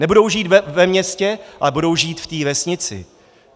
Nebudou žít ve městě, ale budou žít v té vesnici.